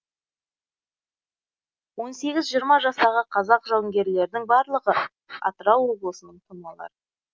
он сегіз жиырма жастағы қазақ жауынгерлердің барлығы атырау облысының тумалары